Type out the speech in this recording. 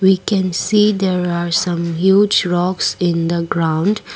we can see there are some huge rocks in the ground.